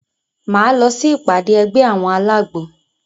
Máa lọ sí ìpàdé ẹgbẹ́ àwọn alágbo.